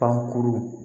Pankuru